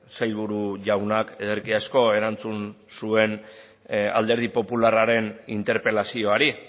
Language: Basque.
sailburu jaunak ederki asko erantzun zuen alderdi popularraren interpelazioari